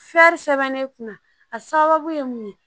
sɛbɛn ne kunna a sababu ye mun ye